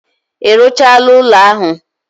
I ruchala ulo ahu?